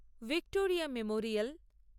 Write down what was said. Victoria Memorial